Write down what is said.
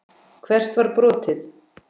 Hvert var brotið?